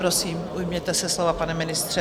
Prosím, ujměte se slova, pane ministře.